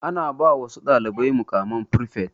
Ana ba wasu dalibai muƙaman frifet.